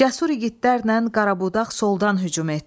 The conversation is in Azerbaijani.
Cəsur igidlərlə Qarabudaq soldan hücum etdi.